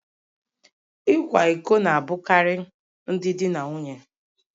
Ịkwa iko na-abụkarị ndị di na nwunye